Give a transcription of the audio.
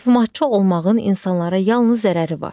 Möhumatçı olmağın insanlara yalnız zərəri var.